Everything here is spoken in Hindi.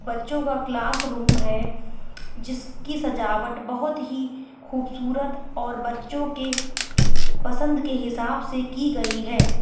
बच्चों का क्लासरूम है। जिसकी सजावट बोहोत ही खूबसूरत और बच्चों के पसंद के हिसाब से की गई है।